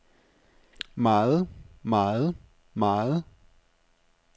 meget meget meget